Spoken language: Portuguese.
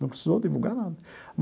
Não precisou divulgar nada.